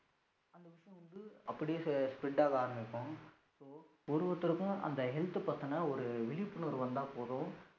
அப்படியே spread ஆக ஆரமிக்கும். ஒரு ஒருத்தருக்கும் அந்த health பதின ஒரு விழிபுணர்வு வந்தா போதும்